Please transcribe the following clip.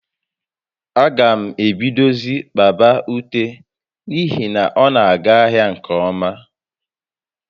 A gam ebidozie kpaba ute n'ihi na ọ na aga ahịa nke ọma